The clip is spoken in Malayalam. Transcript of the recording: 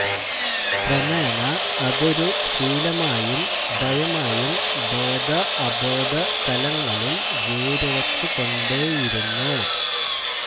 ക്രമേണ അതൊരു ശീലമായും ഭയമായും ബോധ അബോധ തലങ്ങളിൽ വേരുറച്ചുകൊണ്ടേയിരുന്നു